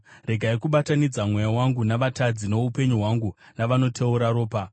Regai kubatanidza mweya wangu navatadzi, noupenyu hwangu navanoteura ropa,